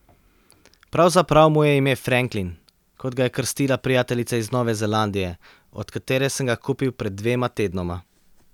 Pravzaprav mu je ime Franklin, kot ga je krstila prijateljica iz Nove Zelandije, od katere sem ga kupil pred dvema tednoma.